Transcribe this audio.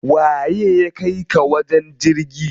Waye ya kaika ka wajen jirgin?